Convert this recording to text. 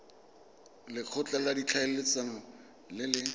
lekgotla la ditlhaeletsano le le